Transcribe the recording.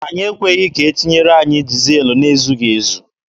Anyị ekweghị ka ha tinyere anyị dizel na-ezughị ezu.